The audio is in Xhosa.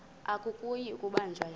akuyi kubanjwa yena